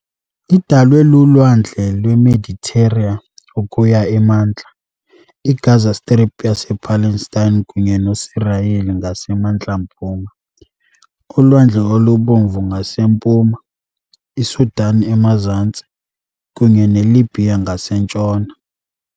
Idalwe luLwandle lweMeditera ukuya emantla, iGaza Strip yasePalestine kunye noSirayeli ngasemantla-mpuma, uLwandle oluBomvu ngasempuma, iSudan emazantsi, kunye neLibhiya ngasentshona .